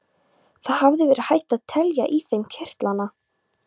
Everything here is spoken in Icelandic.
Það hefði verið hægt að telja í þeim kirtlana.